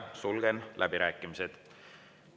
Sulgen läbirääkimised.